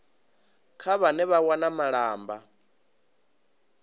kha vhane vha wana malamba